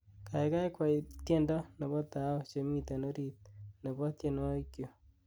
Gaigai kwey tyendo nebo tao chemiten orit nebo tyenwogikchuk